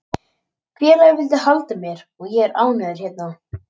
Félagið vildi halda mér og ég er ánægður hérna.